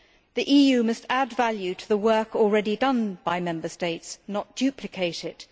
The EU must add value to the work already done by Member States, not duplicate it.